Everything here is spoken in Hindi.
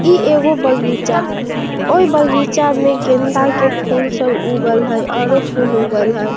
इ एगो बगीचा हई | अ इ बगीचा में गेदा के फुल सब उगल हई और उ फुल उगल हई |